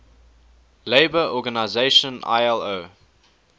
labour organization ilo